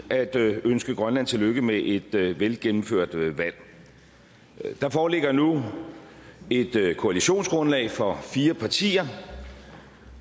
at ønske grønland tillykke med et velgennemført valg der foreligger nu et koalitionsgrundlag for fire partier